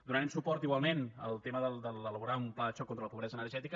donarem suport igualment al tema d’elaborar un pla de xoc contra la pobresa energètica